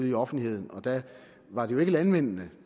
i offentligheden og der var det ikke landmændene